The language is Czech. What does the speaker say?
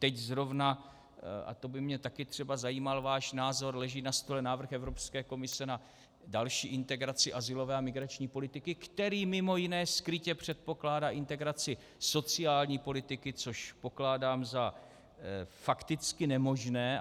Teď zrovna - a to by mě také třeba zajímal váš názor - leží na stole návrh Evropské komise na další integraci azylové a migrační politiky, který mimo jiné skrytě předpokládá integraci sociální politiky, co pokládám za fakticky nemožné.